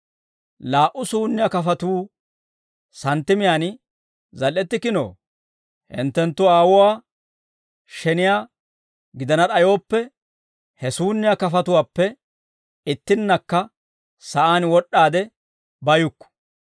Laa"u suunniyaa kafatuu santtimiyaan zal"ettikkinoo? Hinttenttu Aawuwaa sheniyaa gidana d'ayooppe, he suunniyaa kafatuwaappe ittinnakka sa'aan wod'd'aade bayukku.